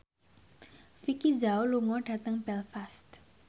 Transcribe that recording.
Vicki Zao lunga dhateng Belfast